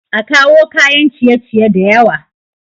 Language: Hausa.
A kawo kayan ciye ciye da yawa